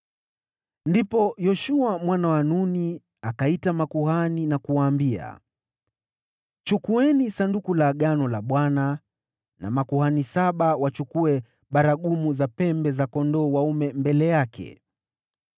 Ndipo Yoshua mwana wa Nuni akaita makuhani na kuwaambia, “Chukueni Sanduku la Agano la Bwana na makuhani saba wachukue baragumu za pembe za kondoo dume mbele yake.”